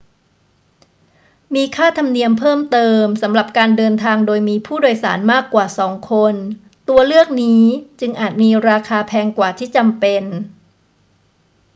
มีค่าธรรมเนียมเพิ่มเติมสำหรับการเดินทางโดยมีผู้โดยสารมากกว่า 2 คน ตัวเลือกนี้จึงอาจมีราคาแพงกว่าที่จำเป็น